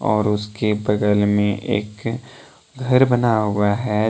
और उसके बगल में एक घर बना हुआ है।